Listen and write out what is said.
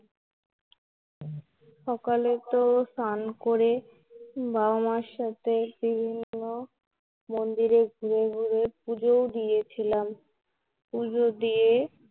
সকালে তো স্নান করে, বাবা মার সাথে বিভিন্ন মন্দিরে ঘুরে ঘুরে পূজো ও দিয়েছিলাম পূজো দিয়ে